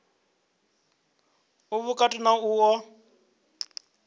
u vhukati na u oa